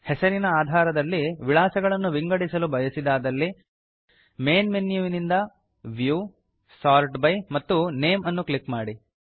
ಹೆಸರಿನ ಆಧಾರದಲ್ಲಿ ವಿಳಾಸಗಳನ್ನು ವಿಂಗಡಿಸಲು ಬಯಸಿದಾದಲ್ಲಿ ಮೇನ್ ಮೇನ್ಯುವಿನಿಂದ ವ್ಯೂ ಸೋರ್ಟ್ ಬೈ ಮತ್ತು ನೇಮ್ ಅನ್ನು ಕ್ಲಿಕ್ ಮಾಡಿ